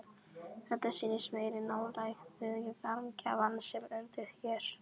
Þetta sýnir meiri nálægð við varmagjafann sem undir er.